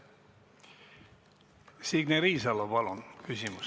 Signe Riisalo, palun!